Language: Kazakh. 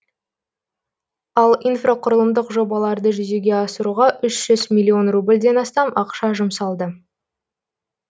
ал инфрақұрылымдық жобаларды жүзеге асыруға үш жүз миллион рубльден астам ақша жұмсалды